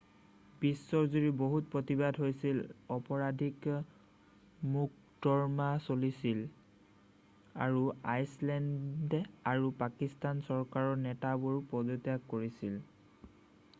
বিশ্বজুৰি বহুত প্ৰতিবাদ হৈছিল অপৰাধিক মোকৰ্দমা চলিছিল আৰু আইচলেণ্ড আৰু পাকিস্তান চৰকাৰৰ নেতাবোৰে পদত্যাগ কৰিছিল